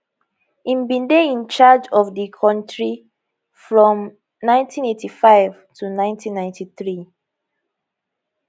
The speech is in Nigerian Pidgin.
im bin dey in charge of di kontri from 1985 to 1993